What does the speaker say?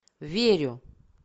верю